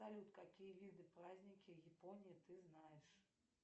салют какие виды праздники япония ты знаешь